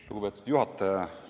Lugupeetud juhataja!